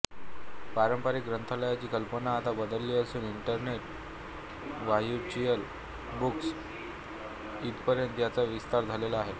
पारंपरिक ग्रंथालयाची कल्पना आता बदलली असून इंटरनेट र्व्हच्युअल बुक्स इथपर्यंत त्याचा विस्तार झालेला आहे